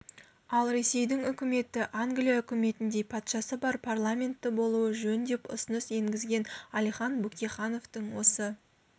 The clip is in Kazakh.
ал ресейдің үкіметі англия үкіметіндей патшасы бар парламентті болуы жөн деп ұсыныс енгізген әлихан бөкейхановтың осы